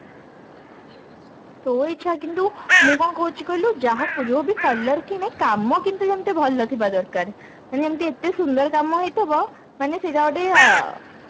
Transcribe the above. ତୋ ଇଚ୍ଛା କିନ୍ତୁ ମୁଁ କଣ କହୁଛି କହିଲୁ ଯାହାକୁ ଯୋଉବି color କିଣେ କାମ କିନ୍ତୁ ଯେମତି ଭଲ ଥିବା ଦରକାର ମାନେ ଯେମତି ଏତେ ସୁନ୍ଦର କାମ ହେଇଥିବ ମାନେ ସେଇଟା ଗୋଟେ ଆ